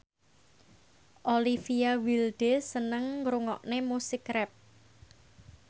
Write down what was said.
Olivia Wilde seneng ngrungokne musik rap